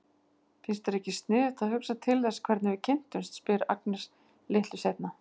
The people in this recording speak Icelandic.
Finnst þér ekki sniðugt að hugsa til þess hvernig við kynntumst, spyr Agnes litlu seinna.